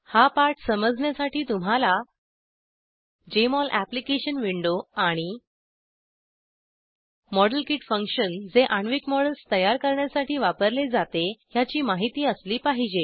हा पाठ समजण्यासाठी तुम्हाला जेएमओल अॅप्लिकेशन विंडो आणि मॉडेलकिट फंक्शन जे आण्विक मॉडेल्स तयार करण्यासाठी वापरले जाते ह्याची माहिती असली पाहिजे